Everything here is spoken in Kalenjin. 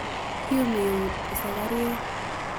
Yume ewuut busakaryeek.